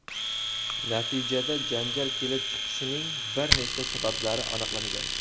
Natijada janjal kelib chiqishining bir nechta sabablari aniqlangan.